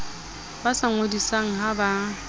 ba sa ngodisang ha ba